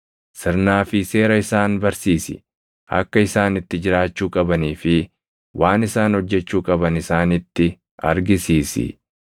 Sirnaa fi seera isaan barsiisi; akka isaan itti jiraachuu qabanii fi waan isaan hojjechuu qaban isaanitti argisiisi.